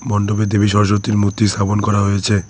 মন্ডপে দেবী সরস্বতীর মূর্তি স্থাপন করা হয়েছে।